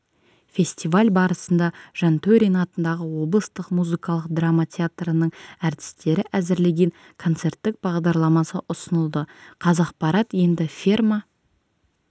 фестиваль барысында жантөрин атындағы облыстық музыкалық драма театрының әртістері әзірлеген концерттік бағдарламасы ұсынылды қазақпарат енді ферма